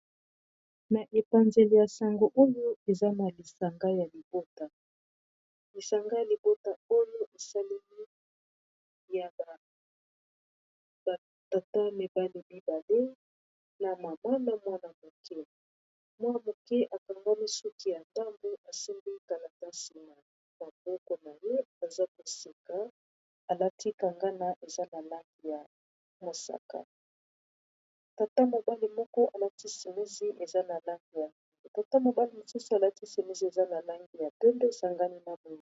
Na epanzeli ya sango oyo eza na lisanga ya libota lisanga ya libota oyo esaleli ya bat22a mwana moke mwa moke akangami suki ya ndambu asembi kalatasi na maboko na ye aza kosika alatikangana eza na lange ya mosaka taambasanalangeyatata mobali mosusu alati semesi eza na langi ya 22 esangami nango.